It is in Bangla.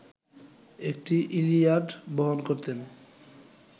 একটি ইলিয়াড বহন করতেন